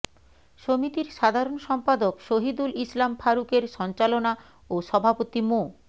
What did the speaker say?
সমিতির সাধারণ সম্পাদক সহিদুল ইসলাম ফারুকের সঞ্চালনা ও সভাপতি মো